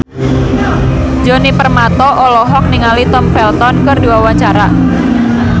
Djoni Permato olohok ningali Tom Felton keur diwawancara